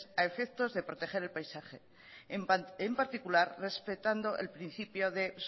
a efectos de proteger el paisaje y en particular respetando el principio de